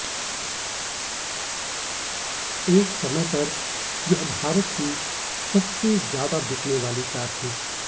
एक समय पर यह भारत की सबसे ज्यादा बिकने वाली कार थी